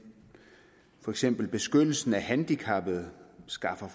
for eksempel beskyttelsen af handicappede skaffer